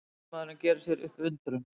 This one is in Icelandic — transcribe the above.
Afgreiðslumaðurinn gerir sér upp undrun.